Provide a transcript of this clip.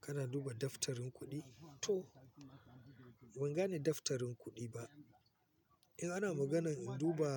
Kana duba daftarin kuɗi? To ban gane daftarin kuɗi ba. In ana maganar duba,